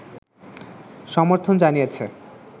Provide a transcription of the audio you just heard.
সর্মথন জানিয়েছে